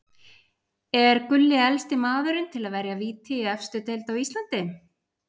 Er Gulli elsti maðurinn til að verja víti í efstu deild á Íslandi?